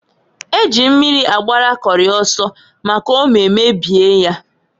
Eji mmiri agbara Kori oso, maka ome mebie nya.